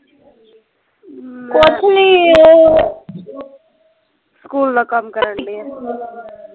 ਕੁੱਛ ਨਹੀਂ ਉਹ ਸਕੂਲ ਦਾ ਕੰਮ ਕਰਨ ਡੀ ਹਾਂ